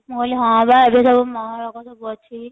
ମୁଁ କହିଲି ହଁ ବା ଏବେ ସବୁ ସବୁ ଅଛି